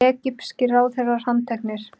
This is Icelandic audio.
Egypskir ráðherrar handteknir